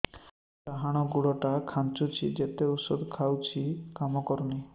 ଡାହାଣ ଗୁଡ଼ ଟା ଖାନ୍ଚୁଚି ଯେତେ ଉଷ୍ଧ ଖାଉଛି କାମ କରୁନି